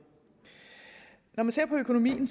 når man ser på økonomien kan